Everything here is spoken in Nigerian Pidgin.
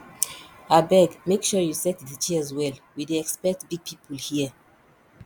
abeg make sure you set the chairs well we dey expect big people here